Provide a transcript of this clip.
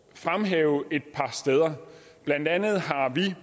fremhæve et par steder blandt andet har vi